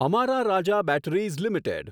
અમારા Raja batteries limited